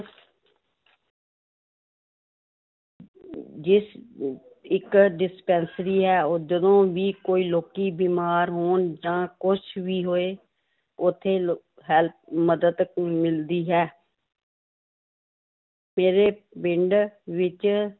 ਜਿਸ ਅਹ ਇੱਕ dispensary ਹੈ ਉਹ ਜਦੋਂ ਵੀ ਕੋਈ ਲੋਕੀ ਬਿਮਾਰ ਹੋਣ ਜਾਂ ਕੁਛ ਵੀ ਹੋਏ ਉੱਥੇ ਲ~ help ਮਦਦ ਮਿਲਦੀ ਹੈ ਮੇਰੇ ਪਿੰਡ ਵਿੱਚ